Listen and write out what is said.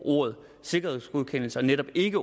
ordet sikkerhedsgodkendelse og netop ikke